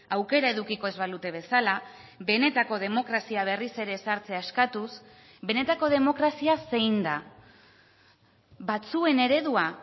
aukera edukiko ez balute bezala benetako demokrazia berriz ere ezartzea eskatuz benetako demokrazia zein da batzuen eredua